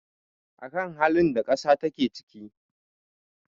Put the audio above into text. a kan halin da ƙasa take ciki